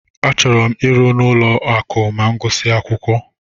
Achọrọ m ịrụ n'ụlọ akụ ma m gusia akwụkwọ.